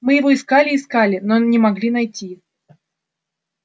мы его искали искали искали но не могли найти